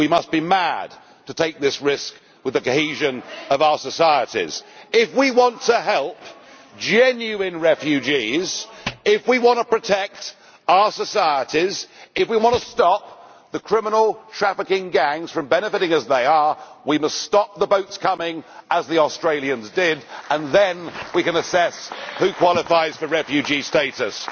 We must be mad to take this risk with the cohesion of our societies. If we want to help genuine refugees, if we want to protect our societies, if we want to stop the criminal trafficking gangs from benefiting as they are doing, we must stop the boats coming as the Australians did and then we can assess who qualifies for refugee status.